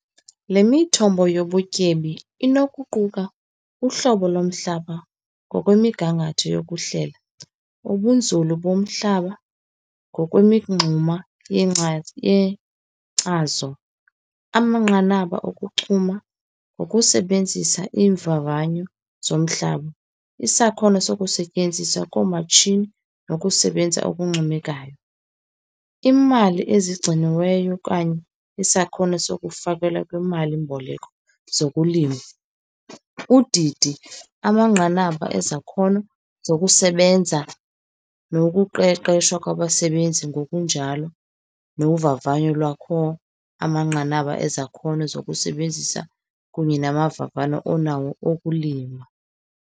Le mithombo yobutyebi inokuquka uhlobo lomhlaba ngokwemigangatho yokuhlela, ubunzulu bomhlaba ngokwemingxuma yengcazo yenkcazo, amanqanaba okuchuma ngokusebenzisa iimvavanyo zomhlaba, isakhono sokusetyenziswa koomatshini nokusebenza okuncomekayo, iimali ezigciniweyo okanye isakhono sokufakelwa kwiimali-mboleko zokulima, udidi, amanqanaba ezakhono zokusebenza nokuqeqeshwa kwabasebenzi, ngokunjalo novavanyo lwakho amanqanaba ezakhono zokusebenzisa kunye namavavano onawo okulima.